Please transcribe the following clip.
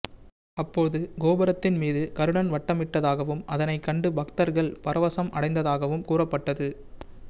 அப்போது கோபுரத்தின் மீது கருடன் வட்டமிட்டதாகவும் அதனைக் கண்டு பக்தர்கள் பரவசம் அடைந்ததாகவும் கூறப்பட்டது